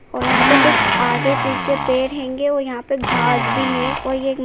और यहां पर कुछ आगे पीछे पेड़ हैंगे और यहां पर घास भी है और ये --